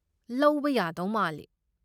ꯂꯧꯕ ꯌꯥꯗꯧ ꯃꯥꯜꯂꯤ꯫